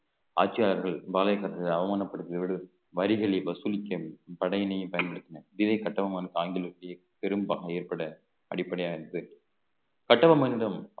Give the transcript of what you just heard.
ஆட்சியாளர்கள் பாளையகார்கள் அவமானப்படுத்தியவர்கள் வரிகளை வசூலிக்க படையினையே பயன்படுத்தினர் இதே கட்டபொம்மனுக்கு பெரும் பகை ஏற்பட அடிப்படையானது கட்டபொம்மனிடம்